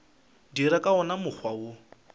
dira ka wona mokgwa wo